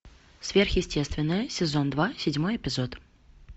сверхъестественное сезон два седьмой эпизод